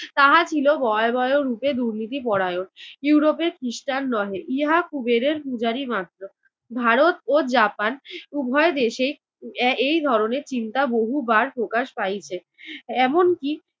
তাহা ছিল ভয়াবহ রূপে দূর্নীতি পরায়ন। ইউরোপের খৃষ্টান নহে ইহা কুবেরের পূজারী মাত্র। ভারত ও জাপান উভয় দেশেই এর এই ধরনের চিন্তা বহুবার প্রকাশ পাইছে। এমনকি